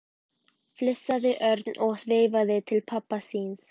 flissaði Örn og veifaði til pabba síns.